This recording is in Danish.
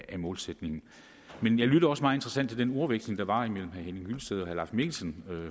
af målsætningen jeg lyttede også meget interesseret til den ordveksling der var imellem herre henning hyllested og her mikkelsen